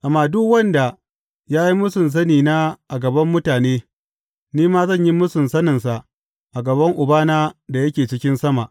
Amma duk wanda ya yi mūsun sani na a gaban mutane, ni ma zan yi mūsun saninsa a gaban Ubana da yake cikin sama.